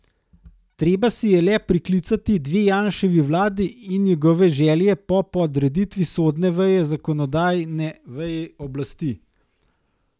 Treba si je le priklicati dve Janševi vladi in njegove želje po podreditvi sodne veje zakonodajni veji oblasti.